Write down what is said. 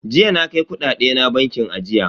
Jiya na kai kudade na bankin ajiya.